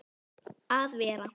að vera.